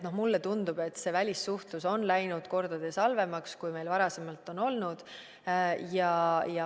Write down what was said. No mulle tundub, et see välissuhtlus on läinud mitu korda halvemaks, kui meil varasemalt on olnud.